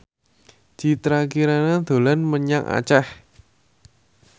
Citra Kirana dolan menyang Aceh